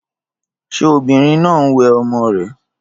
Ṣé obìnrin náà ń wẹ ọmọ rè?